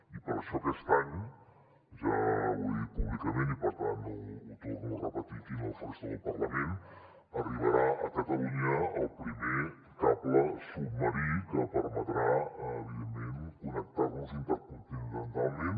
i per això aquest any ja ho he dit públicament i per tant ho torno a repetir aquí en el faristol del parlament arribarà a catalunya el primer cable submarí que permetrà evidentment connectar nos intercontinentalment